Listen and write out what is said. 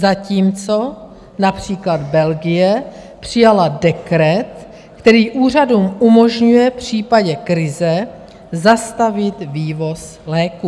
Zatímco například Belgie přijala dekret, který úřadům umožňuje v případě krize zastavit vývoz léků.